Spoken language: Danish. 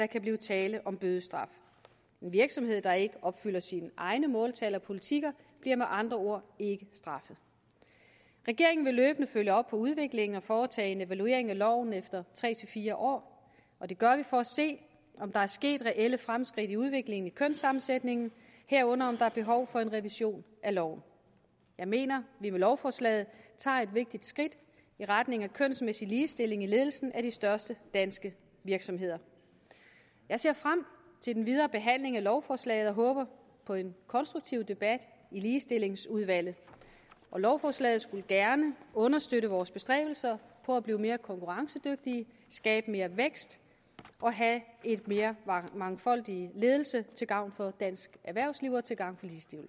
kan blive tale om bødestraf en virksomhed der ikke opfylder sine egne måltal og politikker bliver med andre ord ikke straffet regeringen vil løbende følge op på udviklingen og foretage en evaluering af loven efter tre fire år og det gør vi for at se om der er sket reelle fremskridt i udviklingen i kønssammensætningen herunder om der er behov for en revision af loven jeg mener vi med lovforslaget tager et vigtigt skridt i retning af kønsmæssig ligestilling i ledelsen af de største danske virksomheder jeg ser frem til den videre behandling af lovforslaget og håber på en konstruktiv debat i ligestillingsudvalget lovforslaget skulle gerne understøtte vores bestræbelser på at blive mere konkurrencedygtige skabe mere vækst og have en mere mangfoldig ledelse til gavn for dansk erhvervsliv og til gavn